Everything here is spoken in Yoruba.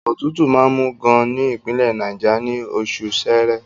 Òtútù máa ń mú gan-an ní Ìpínlẹ̀ Náìjà, ní oṣù Ṣẹẹrẹ.